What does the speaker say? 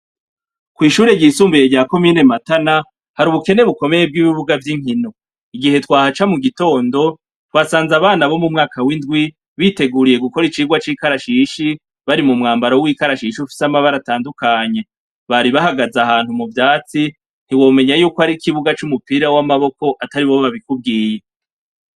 Kw'ishure ryisumbuye rya ko mine matana hari ubukene bukomeye bw'ibibuga vy'inkino, igihe twahaca mu gitondo twasanze abana bo mu mwaka w'indwi biteguriye gukora icirwa c'ikarashishi bari mu mwambaro w'ikarashishi ufise amabara atandukanye, baribahagaze ahantu mu vyatsi ntibomenya yuko ari ikibuga c'umupira w'amaboko atari bobo babikubwiye.